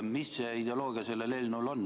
Mis on selle eelnõu ideoloogia?